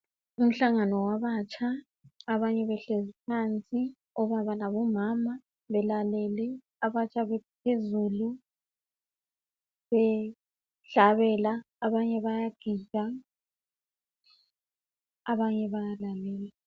umhlagano wabatsha abanye behlezi phansi obaba labo mama belalele phezulu behlabela abanye bayagida abanye bayabaleka